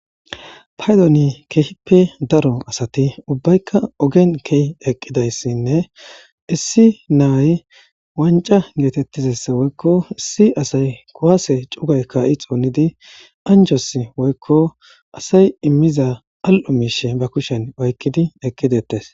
paydoni keehippe daro asati ubbaykka ogen kehi eqqidayssinne issi naay wanca geetettizessa woykko issi asay kowase cugay ka7i xoonidi anjos woykko asay immiza al7o miishe ba kushen oykkidi eqqidettes